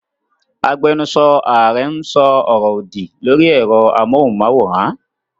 Agbẹnusọ Ààrẹ ń sọ ọ̀rọ̀ òdì lórí ẹ̀rọ amóhùnmáwòrán.